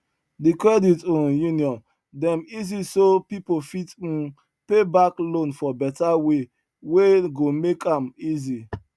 the credit um union dem easy so people fit um pay back loan for better way wey go make am easy